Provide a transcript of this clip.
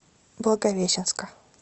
благовещенска